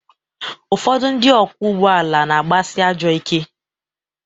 Ụfọdụ ndị ọkwọ ụgbọ ala na-agbasị ajọọ ike.